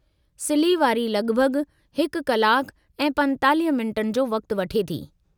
सिल्ही वारी लगि॒भगि॒ हिकु कलाक ऐं 45 मिंट जो वक़्ति वठे थी।